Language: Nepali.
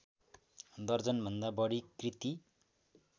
दर्जनभन्दा बढी कृति